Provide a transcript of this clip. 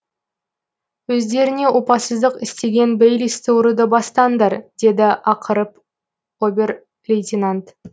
өздеріңе опасыздық істеген бейлисті ұруды бастаңдар деді ақырып обер лейтенант